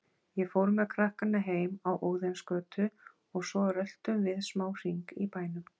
Ég fór með krakkana heim á Óðinsgötu og svo röltum við smá hring í bænum.